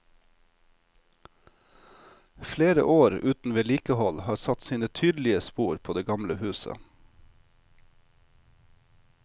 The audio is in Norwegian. Flere år uten vedlikehold har satt sine tydelige spor på det gamle huset.